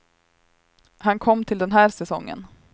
Han kom till den här säsongen.